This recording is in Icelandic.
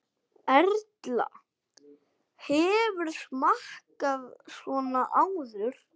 Erla: Hefurðu smakkað svona áður?